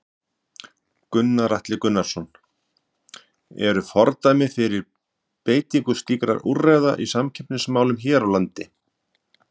Gunnar Atli Gunnarsson: Eru fordæmi fyrir beitingu slíkra úrræða í samkeppnismálum hér á landi?